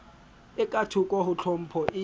e kathoko ho tlhopho e